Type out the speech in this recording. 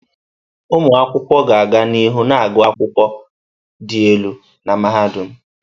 Ụmụ akwụkwọ ga-aga n'ihu na-agụ akwụkwọ dị elu na mahadum.